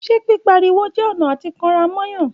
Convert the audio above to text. Ṣẹ pi pá rí wò jẹ ọnà àti kan rà mo Yan?.